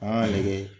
An y'a lajɛ